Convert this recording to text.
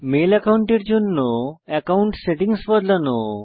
mail অ্যাকাউন্টের জন্য account settings বদলানো